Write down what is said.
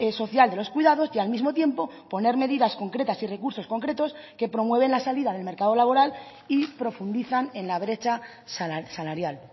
social de los cuidados y al mismo tiempo poner medidas concretas y recursos concretos que promueven la salida del mercado laboral y profundizan en la brecha salarial